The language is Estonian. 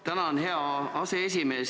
Tänan, hea aseesimees!